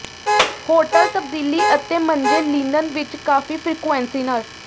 hotel ਤਬਦੀਲੀ ਅਤੇ ਮੰਜੇ ਲਿਨਨ ਵਿੱਚ ਕਾਫੀ ਫਰੀਕੁਇੰਸੀ ਨਾਲ